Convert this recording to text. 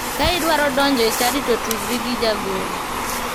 Ka idwaro donjo e chadi to tudri gi jagoro.